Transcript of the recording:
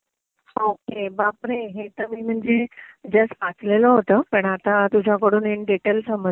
अरे बापरे. हे तर मी म्हणजे जस्ट वाचलेलं होतं पण आता तुझ्याकडून इन डीटेल समजलं